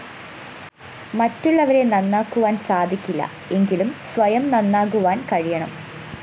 മറ്റുള്ളവരെ നന്നാക്കുവാന്‍ സാധിക്കില്ല എങ്കിലും സ്വയം നന്നാകുവാന്‍ കഴിയണം